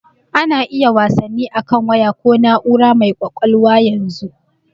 A na iya yin wasanni akan waya ko na'ura mai ƙwaƙwalwa yanzu.